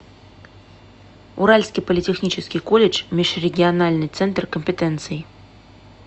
уральский политехнический колледж межрегиональный центр компетенций